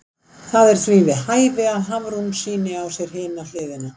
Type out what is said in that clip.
Það er því við hæfi að Hafrún sýni á sér hina hliðina.